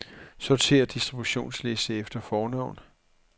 Sortér distributionsliste efter fornavn.